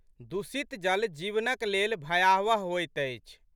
दूषित जल जीवनक लेल भयावह होइत अछि।